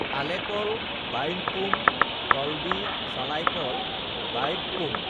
আলেকল বাঈপ্পোম কল্বী সালাইকল বাঈপ্পোম